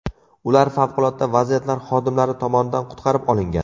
Ular favqulodda vaziyatlar xodimlari tomonidan qutqarib olingan .